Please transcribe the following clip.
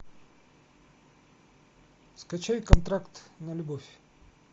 скачай контракт на любовь